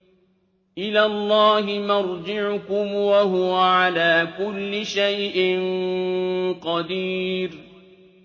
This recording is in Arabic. إِلَى اللَّهِ مَرْجِعُكُمْ ۖ وَهُوَ عَلَىٰ كُلِّ شَيْءٍ قَدِيرٌ